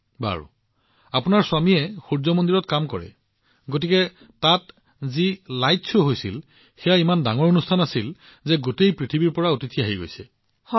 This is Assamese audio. আচ্ছা আপোনাৰ স্বামীয়ে তাত সূৰ্য মন্দিৰত কাম কৰে নেকি তাত যি লাইট শ্ব হৈছিল সেয়া ইমান ডাঙৰ অনুষ্ঠান আছিল আৰু এতিয়া গোটেই পৃথিৱীৰ পৰা অতিথি তালৈ আহি আছে